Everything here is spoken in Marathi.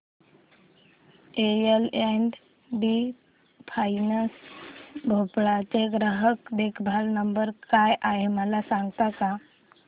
L and T finance Bhopal चा ग्राहक देखभाल नंबर काय आहे मला सांगता का